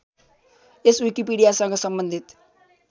यस विकिपीडियासँग सम्बन्धित